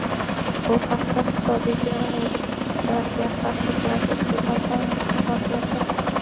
Bu haqda Iqtisodiy jinoyatlarga qarshi kurashish departamenti xabar berdi.